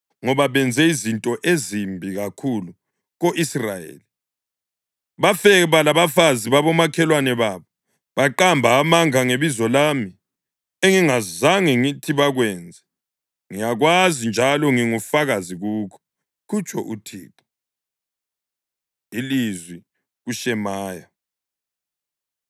Ngoba benze izinto ezimbi kakhulu ko-Israyeli; bafeba labafazi babomakhelwane babo, baqamba amanga ngebizo lami, engingazange ngithi bakwenze. Ngiyakwazi njalo ngingufakazi kukho,” kutsho uThixo. Ilizwi KuShemaya